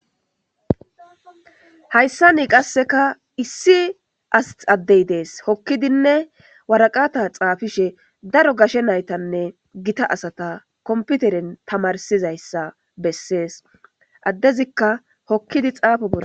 Hayssani qasseka issi addey dees, hokkidinne waraqata xaafishe daro gashe naytanne gita asata komputeren tamarsizayssa bessees. Addezikka hokkidi xaafo boll